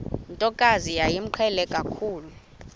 ntokazi yayimqhele kakhulu